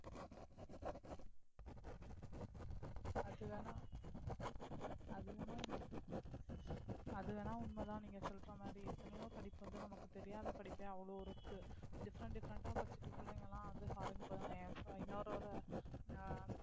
அதுவேனா அதுவேனா உண்மைதான் அதுவேனா உண்மைதான் நீங்க சொல்ற மாதிரி எத்தனையோ படிப்பு வந்து நமக்கு தெரியாத படிப்பு அவ்வளவு இருக்கு different different ஆ படிச்சிட்டு பிள்ளைங்க எல்லாம் வந்து foreign போறாங்க இன்னொரு ஒரு ஆஹ்